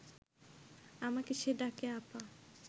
আমাকে সে ডাকে আপা